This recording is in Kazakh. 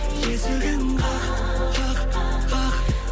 есігін қақ қақ қақ